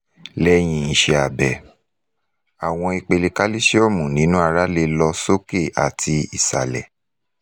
lẹhin iṣẹ abẹ awọn ipele kalisiomu ninu ara le lọ soke ati isalẹ